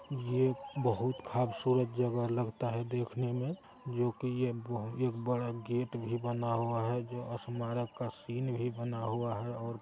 ये बहुत खबसूरत जगह लगता है देखने में जो कि ये बहु- एक बड़ा गेट भी बना हुआ है जो स्मारक का सीन भी बना हुआ है और--